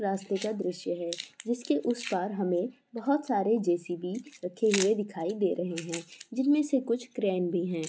रास्ते का द्रस्य है जिसके उस पार हमे बहुत सारे जे_सी_बी रखे हुए दिखाई दे रहे है जिनमे से कुछ ग्रैंड भी है।